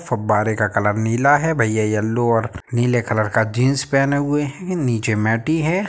फब्बारे का कलर नीला है। भईया येलो और नीले कलर का जींस पहने हुए हैं। नीचे मैटी है।